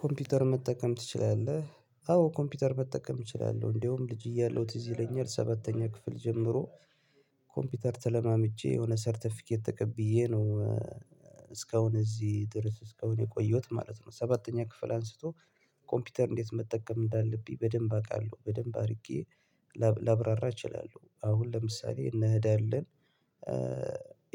ኮምፒውተር መጠቀም ትችላለህ? አዎ ኮምፒውተር መጠቀም እችላለሁ እንደውም ልጅ እያለሁ ትዝ ይለኛል ሰባተኛ ክፍል ጀምሮ ኮምፒውተር ተለማምጄ የሆነ ሰርተፊኬት ተቀብዬ ነው እስካሁን እዚህ ድረስ እስካሁን የቆየሁት ማለት ነው። ሰባተኛ ክፍል አንስቶ ኮምፒውተር እንዴት መጠቀም እንዳለብኝ በደንብ አውቃለሁ በደንብ አድርጌ ላብራራ እችላለሁ። አሁን ለምሳሌ እነ እዳ የለን